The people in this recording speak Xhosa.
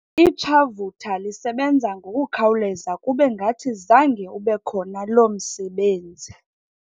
Itshavutha lisebenza ngokukhawuleza kube ngathi zange ube khona loo msebenzi.